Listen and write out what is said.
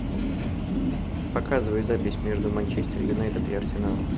показывай запись между манчестер юнайтед и арсеналом